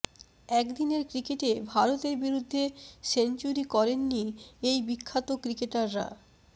একদিনের ক্রিকেটে ভারতের বিরুদ্ধে সেঞ্চুরি করেন নি এই বিখ্যাত ক্রিকেটাররা